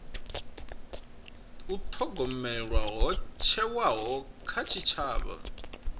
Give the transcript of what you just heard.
thogomelwa ho thewaho kha tshitshavha